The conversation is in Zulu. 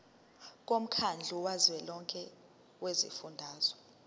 womkhandlu kazwelonke wezifundazwe